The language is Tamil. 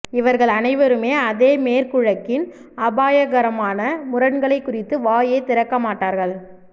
இவர்கள் அனைவருமே அதே மேற்குலகின் அபாயகரமான முரண்களைக் குறித்து வாயே திறக்கமாட்டார்கள்